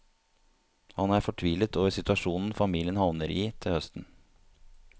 Han er fortvilet over situasjonen familien havner i til høsten.